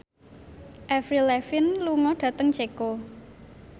Avril Lavigne lunga dhateng Ceko